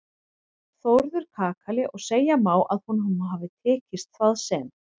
Þórður kakali og segja má að honum hafi tekist það sem